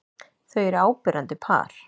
Þau eru áberandi par.